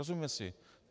Rozumíme si?